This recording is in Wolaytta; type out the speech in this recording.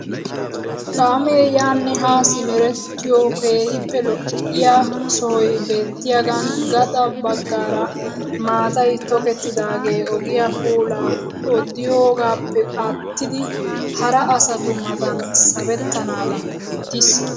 Kaamee yaanne haa simerettiyoo keehippe lo"iyaa sohoy beettiyaagan gaxa baggaara maatay tokettidagee ogiyaa puulaa odiyoogappe aattidi hara asatu maatan sabettanadan oottiis!